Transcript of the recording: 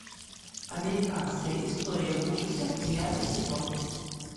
американская история ужасов девятый сезон